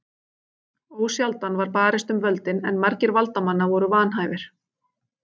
Ósjaldan var barist um völdin en margir valdamanna voru vanhæfir.